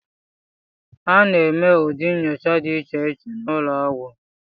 A na-eme ụdị nnyocha dị iche iche n'ụlọọgwụ